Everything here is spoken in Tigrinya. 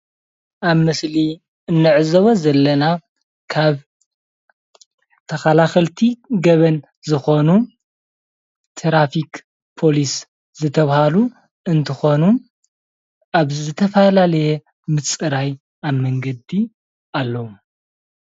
ኣብ ምስሊ እንዕዘቦ ዘለና ካብ ተኸላኸልቲ ገበን ዝኾኑ ትራፊክ ፖሊስ ዝተብሃሉ እንትኾኑ ኣብ ዝተፈላለየ ምፅራይ ኣብ መንገዲ ኣለዉ።